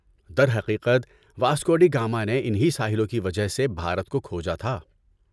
در حقیقت، Vasco da Gama نے ان ہی ساحلوں کی وجہ سے بھارت کو کھوجا تھا۔